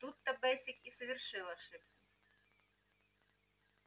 тут-то бэсик и совершил ошибку